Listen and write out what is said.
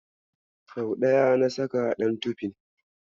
Sau ɗaya na saka ɗan tofin.